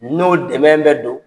N'o dɛmɛn bɛ don